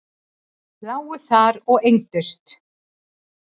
Lágu þar og engdust.